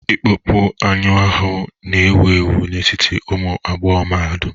Ịkpọpu anụ ahụ n'ewu ewu n'etiti ụmụ agbọghọ mahadum